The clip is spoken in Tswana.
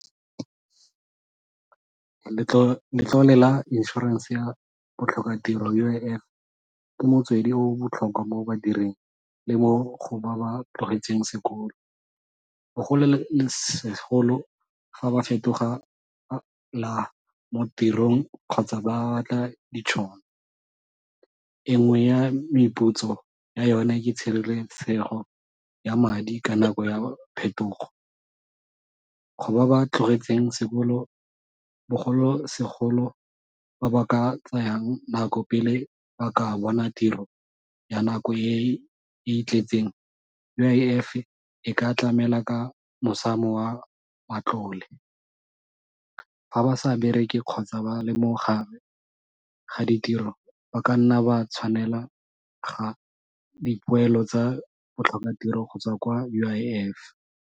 Letlole la insurance ya botlhokatiro U_I_F ke motswedi o o botlhokwa mo badiring le mo go ba ba tlogetseng sekolo, fa ba fetoga mo tirong kgotsa ba batla ditšhono. E nngwe ya meputso ya yone ke tshireletsego ya madi ka nako ya phetogo. Go ba ba tlogetseng sekolo bogolosegolo ba ba ka tsayang nako pele ba ka bona tiro ya nako e e itletseng, U_I_F e ka tlamela ka mosamo wa matlole, fa ba sa bereke kgotsa ba le mo ga ditiro ba ka nna ba tshwanela ga dipoelo tsa botlhokatiro go tswa kwa U_I_F.